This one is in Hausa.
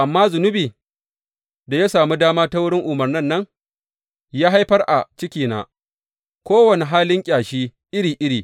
Amma zunubi, da ya sami dama ta wurin umarnin nan, ya haifar a cikina kowane halin ƙyashi iri iri.